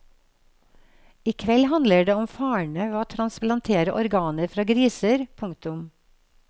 I kveld handler det om farene ved å transplantere organer fra griser. punktum